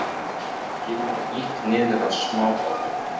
Kemur illa niður á smábátum